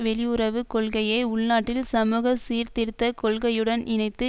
வெளியுறவு கொள்கையை உள்நாட்டில் சமூக சீர்திருத்த கொள்கையுடன் இணைத்து